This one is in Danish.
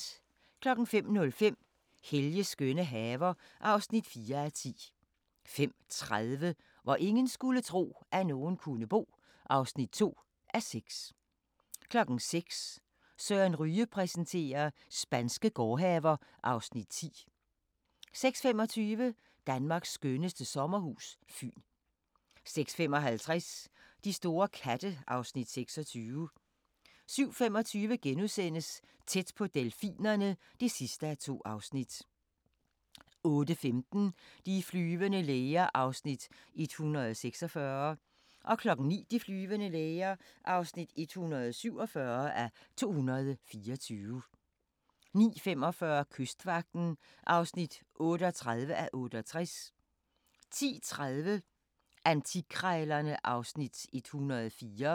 05:05: Helges skønne haver (4:10) 05:30: Hvor ingen skulle tro, at nogen kunne bo (2:6) 06:00: Søren Ryge præsenterer: Spanske gårdhaver (Afs. 10) 06:25: Danmarks skønneste sommerhus – Fyn 06:55: De store katte (Afs. 26) 07:25: Tæt på delfinerne (2:2)* 08:15: De flyvende læger (146:224) 09:00: De flyvende læger (147:224) 09:45: Kystvagten (38:68) 10:30: Antikkrejlerne (Afs. 104)